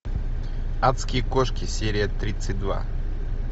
адские кошки серия тридцать два